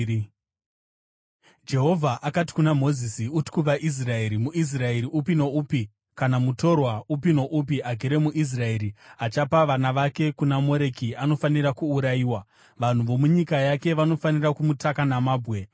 “Uti kuvaIsraeri, ‘MuIsraeri upi noupi kana mutorwa upi noupi agere muIsraeri achapa vana vake kuna Moreki anofanira kuurayiwa. Vanhu vomunyika yake vanofanira kumutaka namabwe.